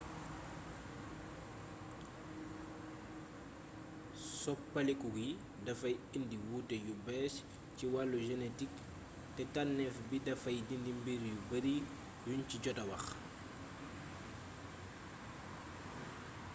soppaliku gi dafay indi wuute yu bees ci wàllu genetik te tànneef bi dafay dindi mbir yu bari yuñ ci jota wax